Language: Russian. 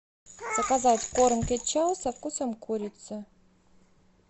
заказать корм печо со вкусом курицы